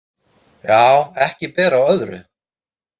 Já, ekki ber á öðru.